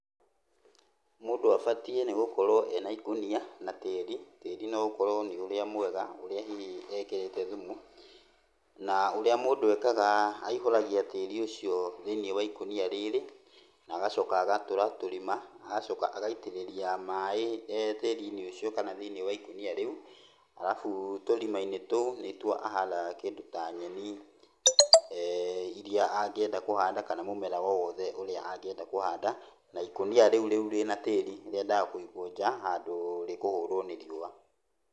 Mũndũ abatiĩ nĩ gũkorwo ena ikũnia na tĩri. Tĩri no ũkorwo nĩ ũrĩa mwega, ũrĩa hihi ekĩrĩte thumu. Na ũrĩa mũndũ ekaga aihũragia tĩri ũcio thĩiniĩ wa ikũnia rĩrĩ, na agacoka agatũra tũrima, agacoka agaitĩrĩria maĩ tĩri-inĩ ũcio kana thĩiniĩ wa ikũnia rĩu. Alafu tũrima-inĩ tũu nĩtuo ahandaga kĩndũ ta nyeni, iria angĩenda kũhanda kana mũmera o wothe ũria angĩenda kũhanda, na ikũnia rĩu rĩu rĩna tĩri rĩendaga kũigwo nja, handũ rĩkũhũrwo nĩ riũa.